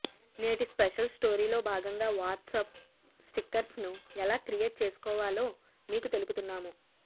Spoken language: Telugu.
నేటి స్పెషల్ స్టోరీలో భాగంగా వాట్సాప్ స్టిక్కర్స్ను ఎలా క్రియేట్ చేసుకోవాలో మీకు తెలుపుతున్నాము